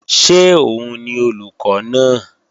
Ṣé òun ni olùkọ́ náà?